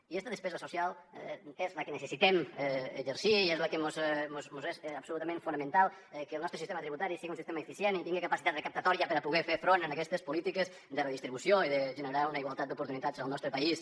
i aquesta despesa social és la que necessitem exercir i és per a la que mos és absolutament fonamental que el nostre sistema tributari siga un sistema eficient i tingue capacitat recaptatòria per a poder fer front a aquestes polítiques de redistribució i de generar una igualtat d’oportunitats al nostre país